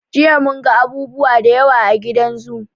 Jiya mun ga abubuwa da yawa a gidan zoo.